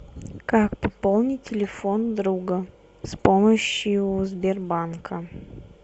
как пополнить телефон друга с помощью сбербанка